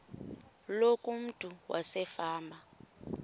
loku umntu wasefama